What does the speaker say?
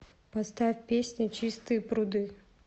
поставь песня чистые пруды